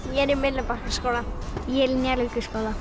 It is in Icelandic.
ég er í Myllubakkaskóla ég er í Njarðvíkurskóla